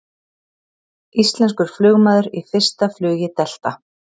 Íslenskur flugmaður í fyrsta flugi Delta